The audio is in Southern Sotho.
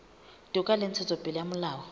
toka le ntshetsopele ya molao